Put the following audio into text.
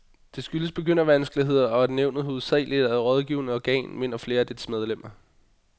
Det skyldes begyndervanskeligheder, og at nævnet hovedsageligt er et rådgivende organ, mener flere af dets medlemmer.